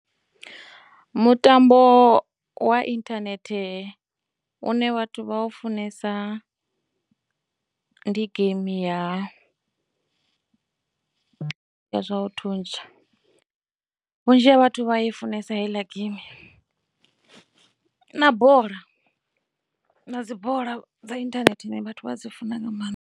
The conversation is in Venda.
Mutambo wa inthanethe une vhathu vha funesa ndi game ya zwa u thuntsha, vhunzhi ha vhathu vha ya i funesa heiḽa game na bola, na dzi bola dza inthanethe vhathu vha dzi funa nga maanḓa.